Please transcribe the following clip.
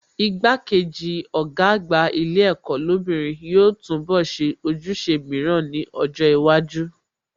Igbá-kejì Ọ̀gá àgbà ilé ẹ̀kọ́ lóbìnrin yóò túnbọ̀ ṣe ojúṣe mìíràn ní ọjọ́ iwájú